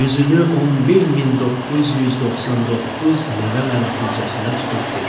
Üzünü 11999 nəvə-nəticəsinə tutub dedi: